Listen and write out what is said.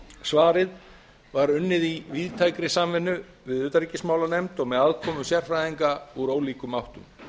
svarið var unnið í víðtækri samvinnu við utanríkismálanefnd og með aðkomu sérfræðinga úr ólíkum áttum við